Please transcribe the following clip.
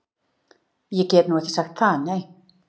Ég get nú ekki sagt það, nei.